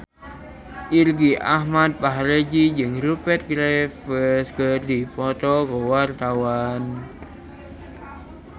Irgi Ahmad Fahrezi jeung Rupert Graves keur dipoto ku wartawan